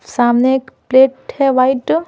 सामने एक प्लेट है वाइट --